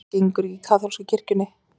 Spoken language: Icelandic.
Þetta gengur ekki gegn kaþólsku kirkjunni